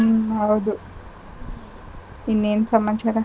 ಹೌದು ಇನ್ನೇನ್ ಸಮಾಚಾರ.